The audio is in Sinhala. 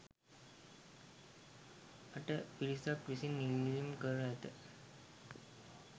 අට පිරිසක් විසින් ඉල්ලීම් කර ඇත.